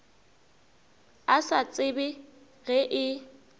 a sa tsebe ge e